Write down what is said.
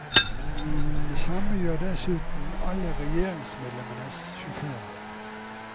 Det samme gjør dessuten alle regjeringsmedlemmenes sjåfører.